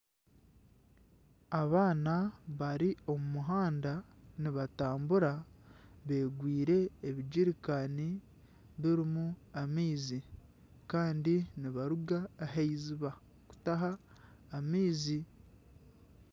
Abaana bari omu muhanda nibatambura beegwire ebijericani birimu amaizi kandi nibaruga ahaiziiba kutaaha amaizi.